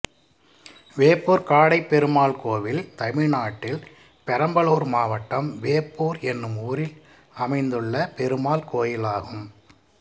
வேப்பூர் காடைப்பெருமாள் கோயில் தமிழ்நாட்டில் பெரம்பலூர் மாவட்டம் வேப்பூர் என்னும் ஊரில் அமைந்துள்ள பெருமாள் கோயிலாகும்